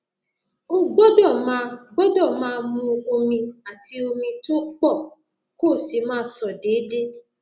o gbọdọ máa gbọdọ máa mu omi àti omi tó pọ kó o sì máa tọ déédéé